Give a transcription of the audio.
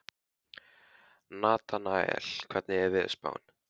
Natanael, hvernig er veðurspáin?